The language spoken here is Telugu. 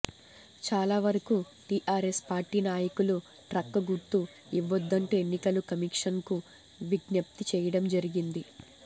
చాలా వరకు టీఆర్ఎస్ పార్టీ నాయకులు ట్రక్ గుర్తు ఇవ్వొదంటూ ఎన్నికల కమీషన్కు విజ్ఞప్తి చేయడం జరిగింది